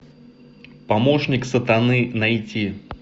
помощник сатаны найти